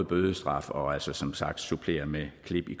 bødestraffen og altså som sagt også supplere med klip i